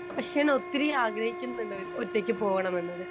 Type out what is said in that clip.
speaker 2 പക്ഷെ ഞാൻ ഒത്തിരി ആഗ്രഹിക്കുന്നുണ്ട് ഒറ്റയ്ക്ക് പോകണമെന്നത്